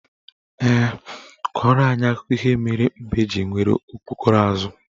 Ee, kọrọ anyị akụkọ ihe mere mbe ji nwere okpokoro azụ.